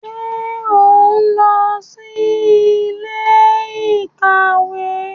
Ṣe o nlọ si ilé-íkàwe?